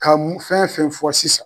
Ka mun fɛn fɛn fɔ sisan.